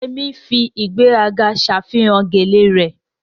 Yemi fi ìgbéraga ṣàfihàn gele rẹ̀